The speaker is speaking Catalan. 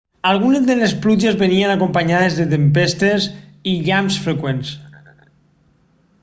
algunes de les pluges venien acompanyades de tempestes i llamps freqüents